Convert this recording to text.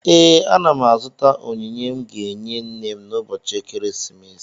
Ee, ana m azụta onyinye m ga-enye nne m ụbọchị ekeresimesi